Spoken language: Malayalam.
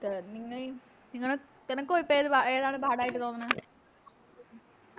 അഹ് നിങ്ങള് നിങ്ങളെ നിനക്കും ഇപ്പൊ ഏതാണ് പാടായിട്ട് തോന്നണേ